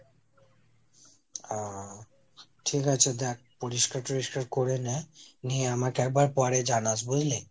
আ ঠিক আছে দ্যাখ, পরিষ্কার ঠোরিষ্কার করে নে, নিয়ে আমাকে একবার পরে জানাস বুঝলি?